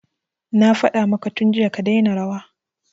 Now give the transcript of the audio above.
Na faɗa maka tun jiya ka daina rawa